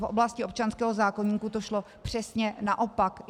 V oblasti občanského zákoníku to šlo přesně naopak.